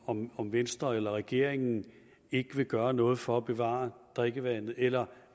om om venstre eller regeringen ikke vil gøre noget for at bevare drikkevandet eller